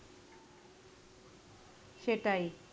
সেটাই.